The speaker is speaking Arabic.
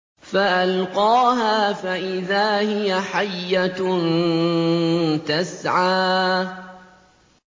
فَأَلْقَاهَا فَإِذَا هِيَ حَيَّةٌ تَسْعَىٰ